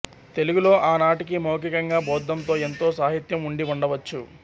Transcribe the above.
తెలుగులో ఆనాటికి మౌఖికంగా బౌద్ధంతో ఎంతో సాహిత్యం ఉండి వుండవచ్చు